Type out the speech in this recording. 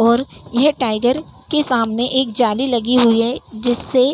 और यह टाईगर के सामने एक जाली लगी हुई है जिससे